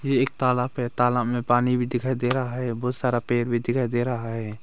ये एक तालाब है तालाब में पानी भी दिखाई दे रहा है बहुत सारा पेड़ भी दिखाई दे रहा है।